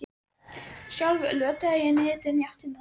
Sjálf lötraði ég niðurdregin í áttina þangað.